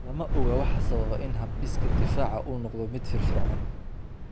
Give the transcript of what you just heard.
Lama oga waxa sababa in habdhiska difaaca uu noqdo mid firfircoon.